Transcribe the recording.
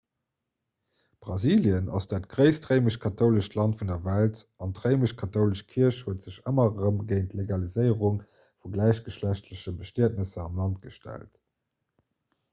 brasilien ass dat gréisst réimesch-kathoulescht land vun der welt an d'réimesch-kathoulesch kierch huet sech ëmmer erëm géint d'legaliséierung vu gläichgeschlechtleche bestietnesser am land gestallt